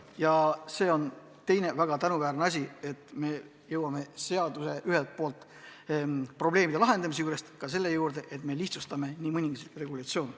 Ja see on teine väga tänuväärne asi, et me jõuame probleemide lahendamise juurest selle juurde, et me lihtsustame mõningaid regulatsioone.